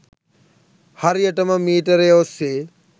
හරියටම මීටරය ඔස්සේ